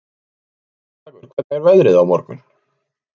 Kjallakur, hvernig er veðrið á morgun?